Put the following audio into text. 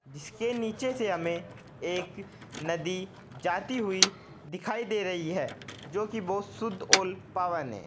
इसके नीचे से हमें एक नदी जाती हुई दिखाई दे रही है जो कि बहुत शुद्ध औल पावन है।